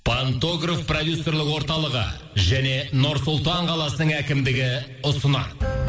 пантограф продюсерлік орталығы және нұр сұлтан қаласының әкімдігі ұсынады